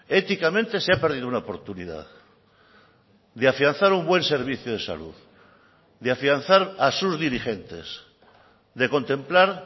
éticamente se ha perdido una oportunidad de afianzar un buen servicio de salud de afianzar a sus dirigentes de contemplar